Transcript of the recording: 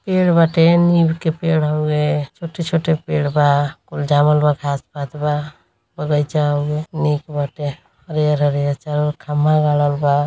पेड़ बाटे नीम के पेड़ हउए छोटे-छोटे पेड़ बा कूल जामल बा घाँस पात बा। बागीइचा हउए निक बाटे हरिहर हरिहर चारों ओर खंबा गारल बा।